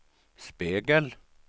spegel